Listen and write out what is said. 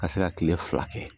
Ka se ka kile fila kɛ